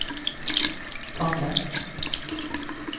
Tangen